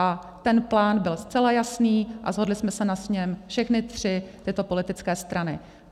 A ten plán byl zcela jasný a shodli jsme se na něm všechny tři tyto politické strany.